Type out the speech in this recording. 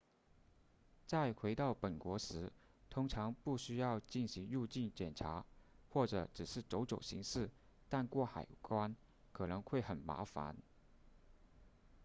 在回到本国时通常不需要进行入境检查或者只是走走形式但过海关可能会很麻烦